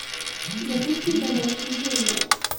запусти ка легкие деньги